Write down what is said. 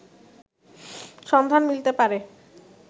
সন্ধান মিলতে পারে